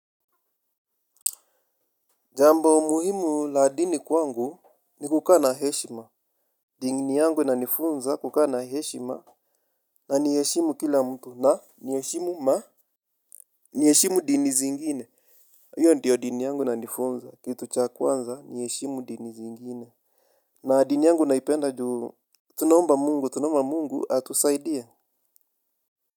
Jambo muhimu la dini kwangu ni kukaa na heshima, dini yangu inanifunza kukaa na heshima na nieshimu kila mtu na nieshimu ma nieshimu dini zingine. Iyo ndiyo dini yangu inanifunza kitu cha kwanza nieshimu dini zingine na dini yangu naipenda juu tunaomba Mungu tunomba Mungu atusaidie.